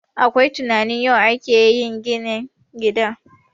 Akwai tunanin yau ake yin ginin gidan